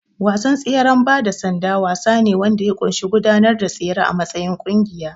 Wasan tseren bada sanda wasa ne wanda ya ƙunshi gudanar da tsere a matsayin ƙungiya.